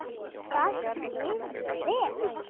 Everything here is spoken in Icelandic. Það skil ég vel!